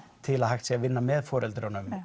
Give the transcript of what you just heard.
til að hægt sé að vinna með foreldrum